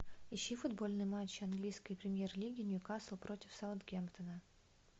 ищи футбольный матч английской премьер лиги ньюкасл против саутгемптона